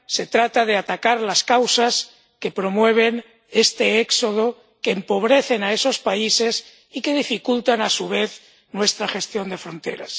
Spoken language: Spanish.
trata de atacar las causas que promueven este éxodo, que empobrecen a esos países y que dificultan, a su vez, nuestra gestión de fronteras.